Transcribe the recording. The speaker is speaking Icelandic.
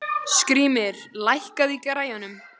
Skrýmir, lækkaðu í græjunum.